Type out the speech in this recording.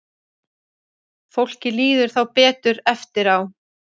Fólki líður þá betur eftir á.